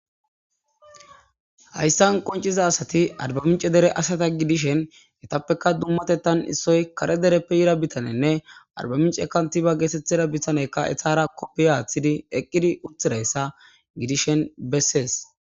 Hayssan qoncciza asati arbbamincce dere asada gidishinetappekka dummatettana kareppe yida bitane arbbamincce kantiba geetettida bitaney etara kuppiya wothidi eqqidi uttidayssa gidishin bessees.